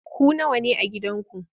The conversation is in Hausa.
Ku nawa ne a gidanku?